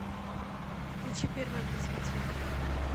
включи первый образовательный канал